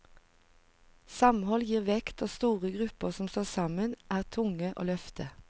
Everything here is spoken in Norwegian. Samhold gir vekt og store grupper som står sammen er tunge å løfte.